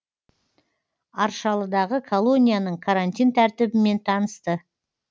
аршалыдағы колонияның карантин тәртібімен танысты